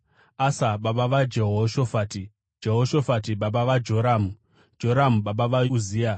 Asa baba vaJehoshafati, Jehoshafati baba vaJoramu, Joramu baba vaUzia,